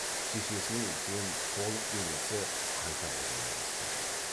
шешесінің үлкен толық денесі қайта қозғала бастады